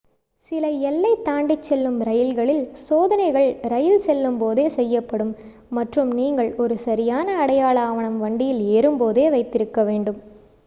சில எல்லை தாண்டிச் செல்லும் ரயில்களில் சோதனைகள் ரயில் செல்லும் போதே செய்யப்படும் மற்றும் நீங்கள் ஒரு 1 சரியான அடையாள ஆவணம் வண்டியில் ஏறும் போதே வைத்திருக்க வேண்டும்